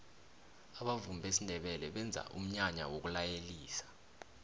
abavumi besindebele benza umnyanya wokulayelisa